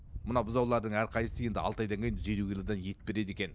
мына бұзаулардың әрқайсысы енді алты айдан кейін жүз елу килодан ет береді екен